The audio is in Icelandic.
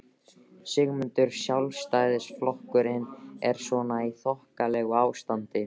Sigmundur: Sjálfstæðisflokkurinn er svona í þokkalegu ástandi?